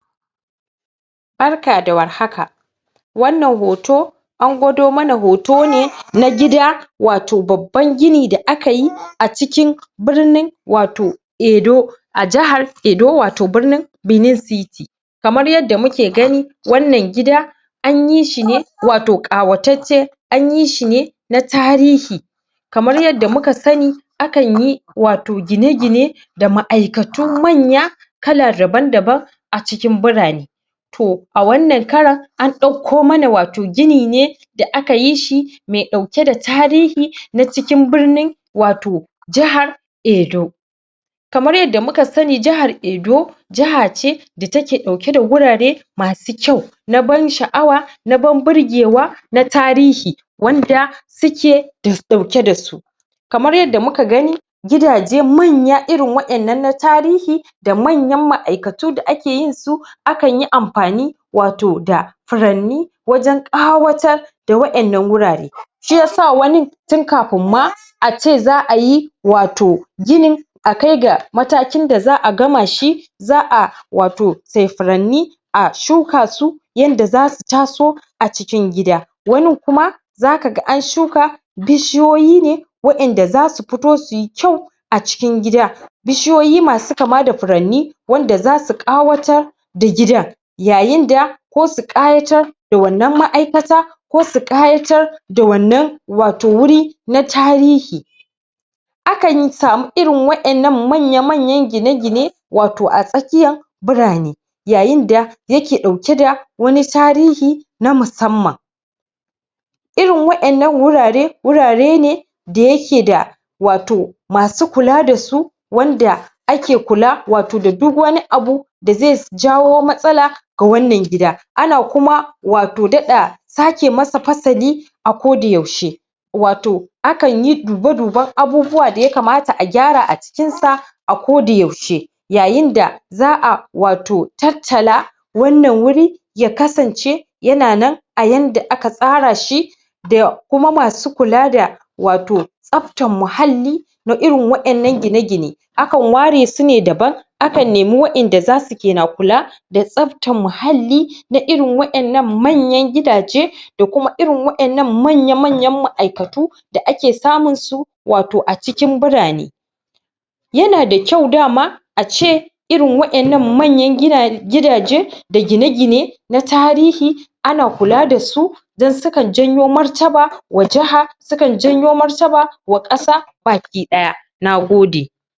barka da warhaka wannan hoto an gwado mana hoto ne na gida wato babban gini da aka yi a cikin birnin wato Edo a jahar edo wato birnin benin city kamar yadda muke gani wannan gida anyi shine wato ƙawatacce anyi shine na tarihi kamar tadda muka sani akanyi wato gine gine da ma'aikatu manya kala daban daban a cikin birane to a wannan karan an ɗakko mana wato gini ne da aka tishi me ɗauke da tarihi na cikin birnin wato jahar edo kamar yadda muka sani jahar edo jaha ce da take ɗau ke da gurare masu kyau na ban sha'awa na ban birgewa na tarihi wanda suke ɗauke dasu kamar yadda muka gani gidaje manya irin waƴannan na tarihi da manyan ma'aikatu da ake yinsu akan yi amfani da wato da furanni wajen ƙawatar da waƴannan gurare shiyasa wani tin kafin ma ace za'a yi wato ginin a kaiga matakin da za'a gama shi za'a wato say furanni a shuka su yanda zasu taso a cikin gida wani kuma zaka ga an shuka bishiyoyi ne waƴanda zasu fito suyi kyau a cikin gida bishiyoyi masu kama da furanni wanda zasu ƙawatar da gidan yayin da ko su ƙayatar da wannan ma'aikata ko su ƙayatar da wannan wato guri na tarihi akan samu irin waƴannan manya manyan gine gine wato a tsakiyan birane yayinda yake ɗauke da wani tarihi na musamman irin waƴannan gurare gurare ne da yake da wato masu kula dasu wanda ake kula wato da duk wani abu da ze jawo matsala ga wannan gida ana kuma wato daɗa sake masa fasali a koda yaushe wato akanyi dube duben abubuwa da ya kamata a gyara a cikin sa a koda yaushe yayinda za'a wato tattala wannan guri ya kasance yana nan a yanda aka tsara shi da kuma masu kula da wato tsaftar muhalli na irin waƴannan gine gine akan ware sune daban akan nemi waƴanda ke na kula da tsaftar muhalli na irin waƴannan manyan gidaje da kuma irin waƴannan manya manyan ma'aikatu da ake samun su wato a cikin birane yana da kyau dama a ce irin waƴannan manyan um gidaje da gine gine na tarihi ana kula dasu don sukan janyo martaba ma jaha sun janyo martaba wa ƙasa baki ɗaya nagode